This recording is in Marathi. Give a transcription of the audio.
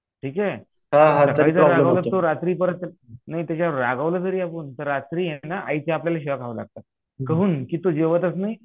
ठीक आहे तो रात्री परत नाही त्याच्यावर रागावलं जरी आपण तर रात्री ये ना आईच्या आपल्याला शिव्या खायला लागतात. काहून की तू